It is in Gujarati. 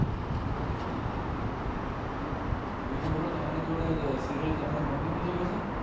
બિજુ બોલો તમારે જોદે સિરિઅલ તમારિ મમ્મી બિ જોએ છે